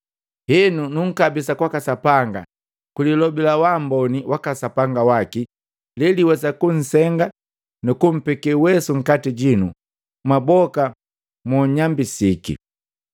“Henu nunkabisi kwaka Sapanga ni kwililobi la waamboni waka Sapanga waki, leliwesa kunsenga nukumpeke uwesu nkati jinu mwaboka monnyambisiki.